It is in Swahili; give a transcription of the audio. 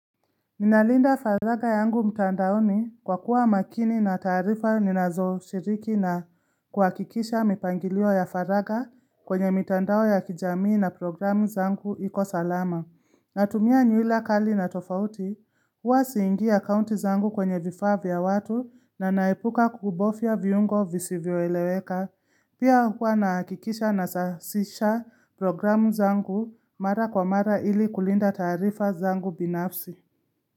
Ninalinda faraga yangu mtandaoni kwa kuwa makini na taarifa ninazo shiriki na kuakikisha mipangilio ya faraga kwenye mtandao ya kijamii na programu zangu ikosalama. Natumia nyuhila kali na tofauti huwa siingi ya kaunti zangu kwenye vifaa vya watu na naepuka kubofya viungo visivyo eleweka. Pia huwa naakikisha na sasisha programu zangu mara kwa mara ili kulinda taarifa zangu binafsi.